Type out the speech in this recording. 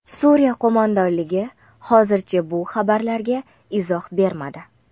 Suriya qo‘mondonligi hozircha bu xabarlarga izoh bermadi.